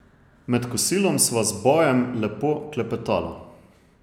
Med kosilom sva z Bojem lepo klepetala.